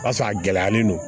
O y'a sɔrɔ a gɛlɛyalen don